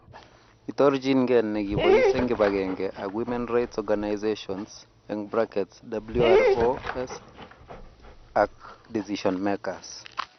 Itorjingei ni kobois eng kibagenge ak women rights organisations (WROs) ak decision-makers